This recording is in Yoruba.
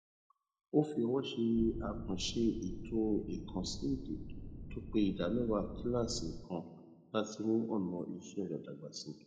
ó fi owó ṣe àkànṣe ètò ìkànsí èdè tó pé ìdámẹwàá kìlàsì kan láti mú ọnà iṣẹ rẹ dàgbà síi